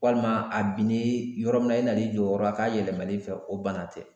Walima a binnen yɔrɔ min na i na n'i jɔ o yɔrɔ la k'a yɛlɛma n'i fɛ ,o bana tɛ.